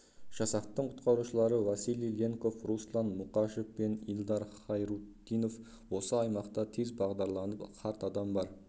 жасақтың құтқарушылары василий ленков руслан мұкашев пен илдар хайрутдинов осы аймақта тез бағдарланып қарт адам бар